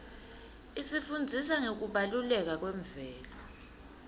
isifundzisa ngekubaluleka kwemvelo